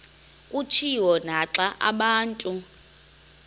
kutshiwo naxa abantu